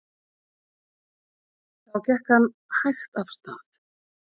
Þá gekk hann hægt af stað.